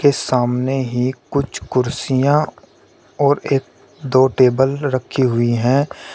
ये सामने ही कुछ कुर्सियां और एक दो टेबल रखी हुई है।